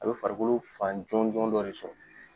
A be farikolo fan jɔnjɔn dɔ de sɔrɔ.